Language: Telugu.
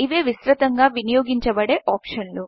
ఇవే విస్త్రతంగా వినియోగించబడే ఆప్షన్లు